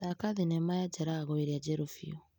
Thaka thinema ya Jalagũ ĩrĩa njerũ biũ.